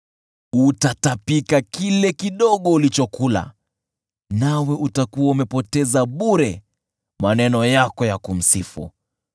Utatapika kile kidogo ulichokula, nawe utakuwa umepoteza bure maneno yako ya kumsifu.